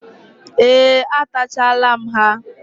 Ee, atachala m ha.